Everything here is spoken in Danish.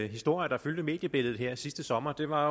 historier der fyldte mediebilledet sidste sommer var